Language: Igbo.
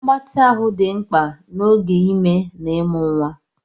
Mgbatị ahụ dị mkpa n'oge ime na ịmụ nwa.